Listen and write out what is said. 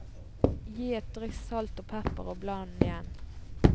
Gi et dryss salt og pepper og bland igjen.